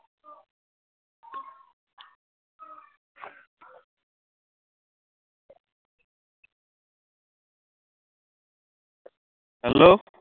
hello